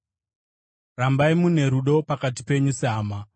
Rambai mune rudo pakati penyu sehama.